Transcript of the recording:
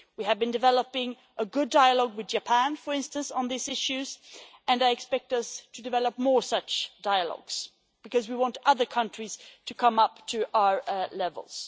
We have been developing a good dialogue with Japan, for instance, on these issues, and I expect us to develop more such dialogues, because we want other countries to come up to our levels.